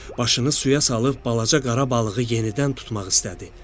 Başını suya salıb balaca qara balığı yenidən tutmaq istədi.